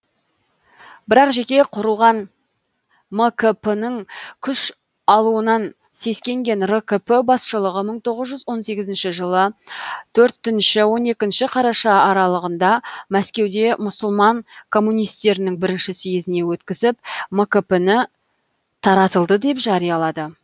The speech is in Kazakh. бірақ жеке құрылған мкп ның күш алуынан сескенген ркп басшылығы мың тоғыз жүз он сегізінші жылы төртінші он екінші қараша аралығында мәскеуде мұсылман коммунистерінің бірінші съезіне өткізіп мкп ны таратылды деп жариялады